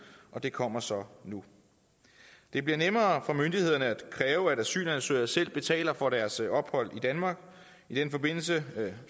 og det kommer så nu det bliver nemmere for myndighederne at kræve at asylansøgere selv betaler for deres ophold i danmark i den forbindelse